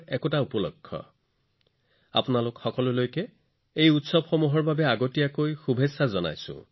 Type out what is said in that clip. এই উৎসৱবোৰত আপোনালোক সকলোলৈ অগ্ৰীম শুভেচ্ছা জনাইছো